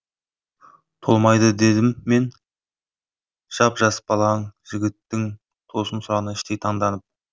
толмайды дедім мен жап жас балаң жігіттің тосын сұрағына іштей таңданып